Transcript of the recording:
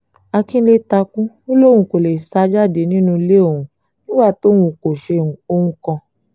àkínńlé takú ò lóun kò lè sá jáde nínú ilé òun nígbà tóun kò ṣe ohun kan